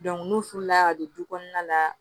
n'u furu la ka don du kɔnɔna la